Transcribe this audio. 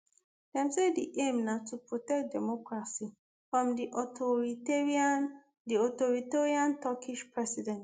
dem say di aim na to protect democracy from di authoritarian di authoritarian turkish president